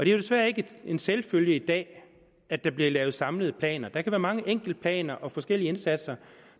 jo desværre ikke en selvfølge i dag at der bliver lavet samlede planer der kan være mange enkeltplaner og forskellige indsatser